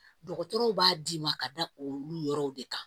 Dɔgɔtɔrɔw b'a d'i ma ka da olu yɔrɔw de kan